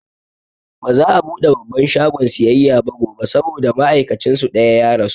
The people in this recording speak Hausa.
Baza'a buɗe babban shagon siyayya ba gobe saboda ma'aikacin su ɗaya ya rasu